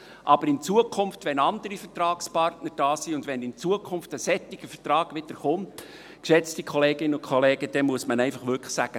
Aber in Zukunft, wenn andere Vertragspartner da sind, und wenn in Zukunft wieder ein solcher Vertrag kommt, geschätzte Kolleginnen und Kollegen, dann muss man einfach wirklich sagen: